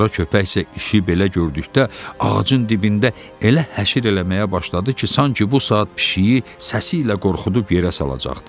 Qara köpək isə işi belə gördükdə ağacın dibində elə həşir eləməyə başladı ki, sanki bu saat pişiyi səsi ilə qorxudub yerə salacaqdı.